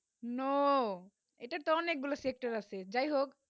no এইটা অনেক গুলু sector আছে জাই হোক